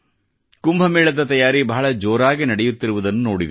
ಕುಂಭ ಮೇಳದ ತಯಾರಿ ಬಹಳ ಜೋರಾಗಿ ನಡೆಯುತ್ತಿರುವುದನ್ನು ನೋಡಿದೆ